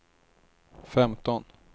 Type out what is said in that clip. femton